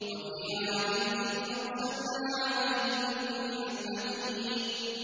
وَفِي عَادٍ إِذْ أَرْسَلْنَا عَلَيْهِمُ الرِّيحَ الْعَقِيمَ